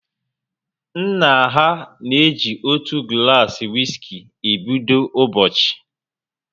Nna ha na eji otu gulasi wiski e bido ụbọchị